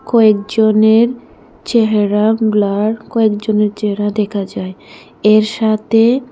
কয়েকজনের চেহারা গ্লার কয়েকজনের চেহারা দেখা যায় এর সাথে--